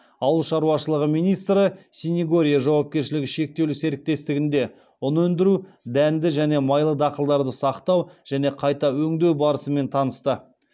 ауыл шаруашылығы министрі синегорье жауапкершілігі шектеулі серіктестігінде ұн өндіру дәнді және майлы дақылдарды сақтау және қайта өңдеу барысымен танысты